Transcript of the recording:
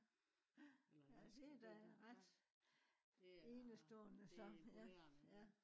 ja det er da ret enestående så ja ja